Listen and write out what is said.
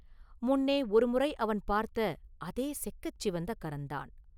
முன்னே ஒருமுறை அவன் பார்த்த அதே செக்கச் சிவந்த கரந்தான்.